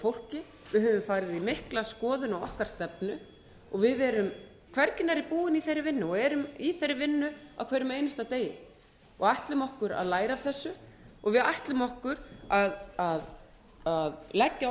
fólki við höfum farið í mikla skoðun á okkar stefnu við erum hvergi nærri búin í þeirri vinnu og erum í þeirri vinnu á hverjum einasta degi og ætlum okkur að læra af þessu við ætlum okkur að leggja